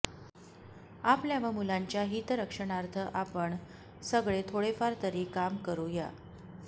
आपल्या व मुलांच्या हितरक्षणार्थ आपण सगळे थोडेफार तरी काम करू या